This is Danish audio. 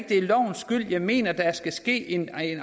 det er lovens skyld jeg mener der skal ske en